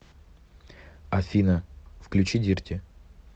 афина включи дирти